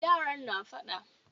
Yaran na faɗa